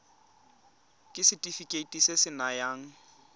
ke setefikeiti se se nayang